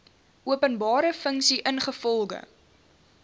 openbare funksie ingevolge